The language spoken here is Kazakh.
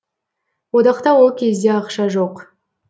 одақта ол кезде ақша жоқ